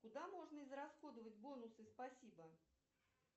куда можно израсходовать бонусы спасибо